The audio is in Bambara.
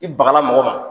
I bagala mɔgɔ ma